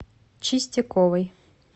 чистяковой